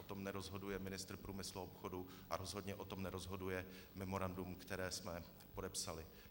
O tom nerozhoduje ministr průmyslu a obchodu a rozhodně o tom nerozhoduje memorandum, které jsme podepsali.